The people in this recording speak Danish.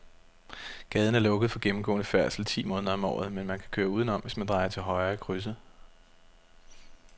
Gaden er lukket for gennemgående færdsel ti måneder om året, men man kan køre udenom, hvis man drejer til højre i krydset.